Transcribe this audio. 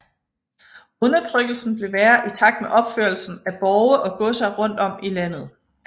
Undertrykkelsen blev værre i takt med opførelsen af borge og godser rundt om i landet